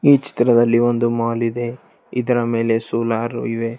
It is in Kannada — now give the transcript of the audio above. ಈ ಚಿತ್ರದಲ್ಲಿ ಒಂದು ಮಾಲ್ ಇದೆ ಇದರ ಮೇಲೆ ಸೋಲಾರ್ ಇದೆ.